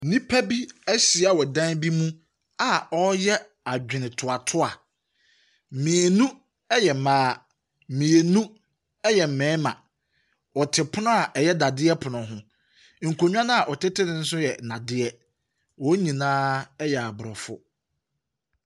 Nnipa bi ahyia wɔ dan bi mu a wɔreyɛ adwenetoatoa. Mmienu yɛ mmaa, mmienu yɛ mmarima. Wɔte pono a ɛyɛ nnadeɛ pono ho, nkonnwa no a wɔtete so no nso yɛ nnadeɛ. Wɔn nyinaa yɛ aborɔfo.